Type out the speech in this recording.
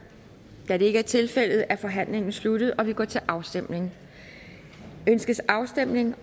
da det ikke er tilfældet er forhandlingen sluttet og vi går til afstemning afstemning